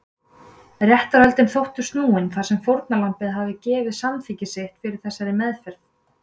Réttarhöldin þóttu því snúin þar sem fórnarlambið hafði gefið samþykki sitt fyrir þessari meðferð.